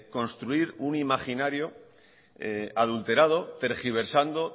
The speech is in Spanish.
construir un imaginario adulterado tergiversando